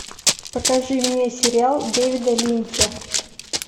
покажи мне сериал дэвида линча